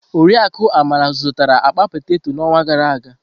Oriakụ Amara zụtara akpa peteto n'ọnwa gara aga.